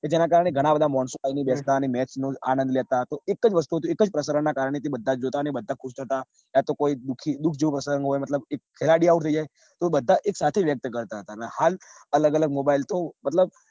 કે જેના કારણે ઘણાં બધા માણસો આયી ને બેસતા અને match નો આનંદ લેતા તો એક જ વસ્તુ એક જ પ્રસારણ ના કારણ થી બધા જોતા અને બધા ખુસ થાતા. અત્યારે તો કોઈ દુખી દુખ જેવું પ્રસરણ હોય મતલબ કોઈ ખેલાડી out થઇ જાય તો બધા એક સાથે વ્યક્ત કરતા ને હાલ અલગ અલગ mobile તો મતલબ